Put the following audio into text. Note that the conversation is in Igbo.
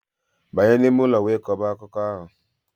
Banye n'ime ụlọ wee kọba akụkọ ahụ!